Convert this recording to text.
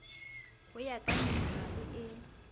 ho ya ka minerale e